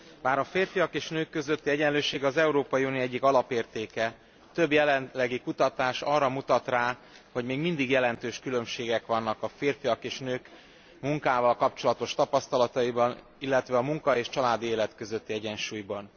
Bár a férfiak és nők közötti egyenlőség az Európai Unió egyik alapértéke, több jelenlegi kutatás arra mutat rá, hogy még mindig jelentős különbségek vannak a férfiak és nők munkával kapcsolatos tapasztalataiban, illetve a munka és családi élet közötti egyensúlyban.